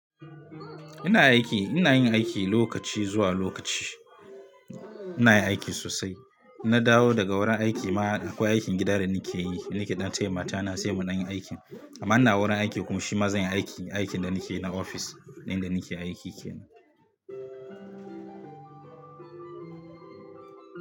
Ina aiki, ina yin aiki lokaci zuwa lokaci. Ina yin aiki sosai. Na dawo daga wurin aiki ma akwai aikin gida da nike yi. Ni nake ɗan taya mata na sai mu ɗanyi aikin. Amma ina wurin aiki kuma shi ma zanyi aiki, aikin da nike na ofis in da nike aiki kenan.